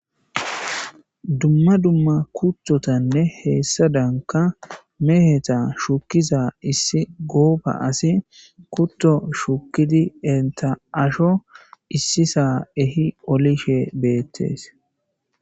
Dumma dumma kuttotanne hessadankka meheza shukkiza issi goobba asi.kutto shuukiza giiddi entta aasho issisa ehi qolishe bettes